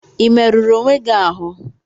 Ị merụrụ onwe gị ahụ?